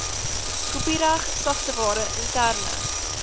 kopiereg sagteware interne